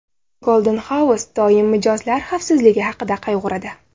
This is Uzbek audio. Golden House doim mijozlar xavfsizligi haqida qayg‘uradi.